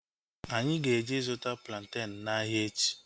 Anyị ga-eje ịzụta plantenu n'ahia echi